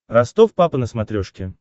ростов папа на смотрешке